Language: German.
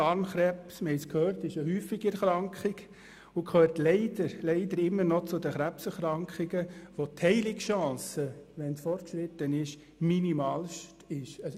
Darmkrebs ist eine häufige Erkrankung und gehört leider immer noch zu den Krebserkrankungen, bei denen die Heilungschancen, wenn er fortgeschritten ist, minimalst sind.